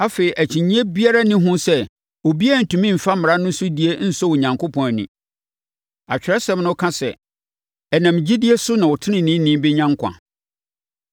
Afei, akyinnyeɛ biara nni ho sɛ obiara rentumi mfa mmara no so die nsɔ Onyankopɔn ani. Atwerɛsɛm no ka sɛ, “Ɛnam gyidie so na ɔteneneeni bɛnya nkwa.”